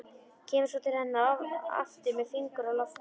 Kemur svo til hennar aftur með fingur á lofti.